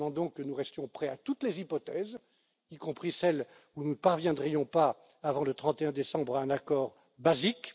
députés. Je recommande donc que nous restions prêts à toutes les hypothèses, y compris celle où nous ne parviendrions pas avant le 31 décembre à un accord